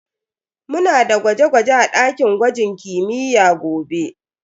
Muna da gwaje-gwaje a dakin gwajin kimiyya gobe.